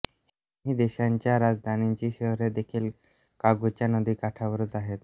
ह्या दोन्ही देशांच्या राजधानींची शहरे देखील कॉंगोच्या नदीकाठावरच आहेत